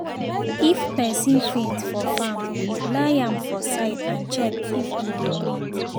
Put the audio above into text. if person faint for farm lie am for side and check if e dey breathe.